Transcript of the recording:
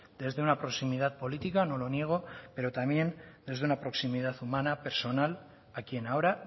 desde una proximidad política no lo niego pero también desde una proximidad humana personal a quien ahora